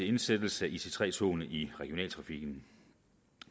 indsættelse af ic3 togene i regionaltrafikken